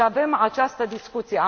Și avem această discuție.